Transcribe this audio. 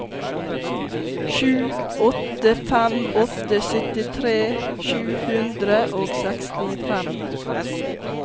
sju åtte fem åtte syttitre sju hundre og sekstifem